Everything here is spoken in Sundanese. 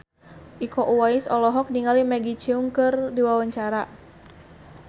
Iko Uwais olohok ningali Maggie Cheung keur diwawancara